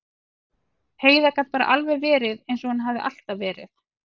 Heiða gat bara alveg verið eins og hún hafði alltaf verið.